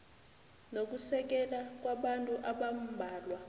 nokusekela kwabantu abambalwa